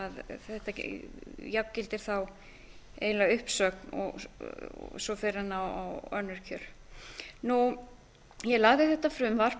þannig að þetta jafngildir þá eiginlega uppsögn og svo fer hann á önnur kjör ég lagði þetta frumvarp